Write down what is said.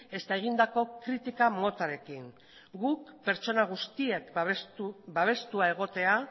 ezta egindako kritika motarekin ere guk pertsona guztiak babestuta egotea